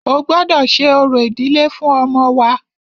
O gbọ́dọ ṣe orò ìdílé fún ọmọ wa!